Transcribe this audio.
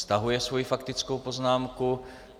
Stahuje svoji faktickou poznámku.